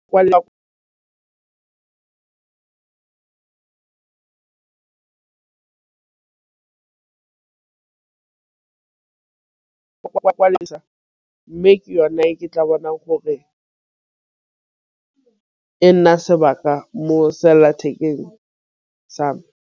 Mme ke yone e ke tla bonang gore e nna sebaka mo sellathekeng same.